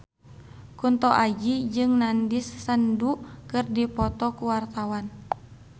Kunto Aji jeung Nandish Sandhu keur dipoto ku wartawan